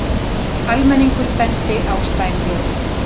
Almenningur bendi á slæm lög